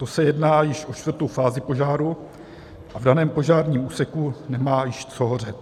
To se jedná již o čtvrtou fázi požáru a v daném požárním úseku nemá již co hořet.